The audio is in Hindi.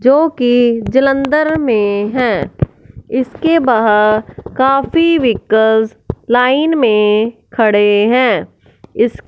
जो की जालंधर में हैं इसके बाहर काफी व्हीकल लाइन में खड़े हैं इस--